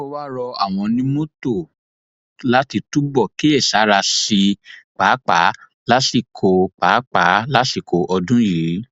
ó wáá rọ àwọn onímọtò láti túbọ kíyèsára sí i páàpáà lásìkò páàpáà lásìkò ọdún yìí